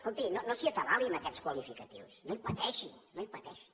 escolti no s’hi atabali amb aquests qualificatius no hi pateixi no hi pateixi